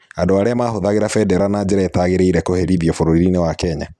Andũ arĩa mahũthagĩra vendera na njĩra ĩtagĩrĩire kũherithio vuririni wa Kenya